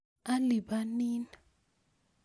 Alipanin